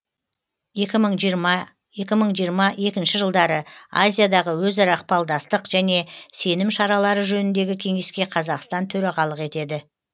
екі мың жиырма екі мың жиырма екінші жылдары азиядағы өзара ықпалдастық және сенім шаралары жөніндегі кеңеске қазақстан төрағалық етеді